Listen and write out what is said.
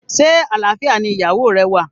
Se alfia ni iyawo re wa?